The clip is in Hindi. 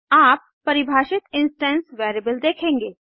आप परिभाषित इंस्टेंस वेरिएबल देखेंगे